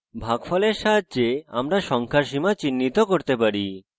ভাগফলের সাহায্যে আমরা সংখ্যার সীমা চিহ্নিত করতে পারি